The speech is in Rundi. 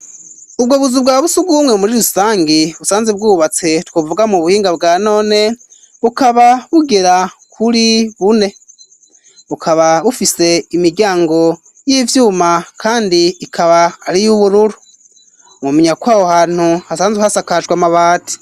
Ubwo buzu bwa sugumwe muri rusangi busanze bwubatse twuvuga mu buhinga bwa none bukaba bugera kuri bune, bukaba bufise imiryango y'ivyuma kandi ikaba ari y'ubururu mwomenya kw'aho hantu hasanzwe hasakaje amabati.